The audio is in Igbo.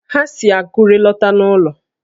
Ha si Akure lọta n'ụlọ